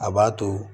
A b'a to